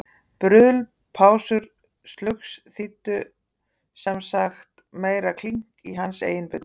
Bruðl, pásur og slugs þýddu sem sagt meira klink í hans eigin buddu.